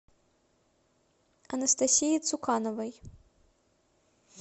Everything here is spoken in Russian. анастасии цукановой